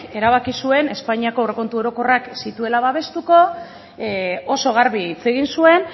erabaki zuen espainiako aurrekontu orokorrak ez zituela babestuko oso garbi hitz egin zuen